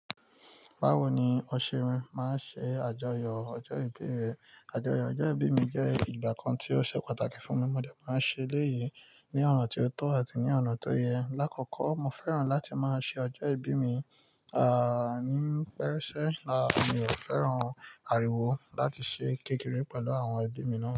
Báwo ni o ṣe ma ń ṣe àjọyọ̀ ọjọ́ ìbí rẹ? Àjọyọ̀ ọjọ́ ìbí mi jẹ́ ìgbà kan tí ó ṣe pàtàkì fún mi. Mo dẹ̀ máa ń ṣe léyìí ní ọ̀nà tó tọ́ àti ní ọ̀nà tó yẹ. Lákoko, mo fẹ́ràn láti máa ṣe ọjọ́ ìbí mi, à, ní pẹ́ẹ́rẹ́se mi ò fẹ́ràn àríwó láti ṣe kékeré pẹ̀lú àwọn ẹbí mi náà.